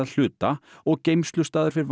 hluta og geymslustaður fyrir